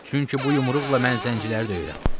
Çünki bu yumruqla mən zənciləri döyürəm.